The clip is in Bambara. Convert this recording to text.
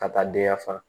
Ka taa den ya fa